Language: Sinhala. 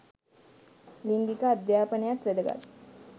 ලිංගික අධ්‍යාපනයත් වැදගත්.